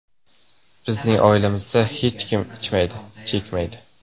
Bizning oilamizda hech kim ichmaydi, chekmaydi.